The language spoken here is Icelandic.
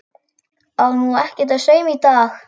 Á nú ekkert að sauma í dag?